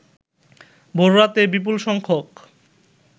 ভোররাতে বিপুল সংখ্যক